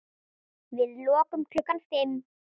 Við lokum klukkan fimm.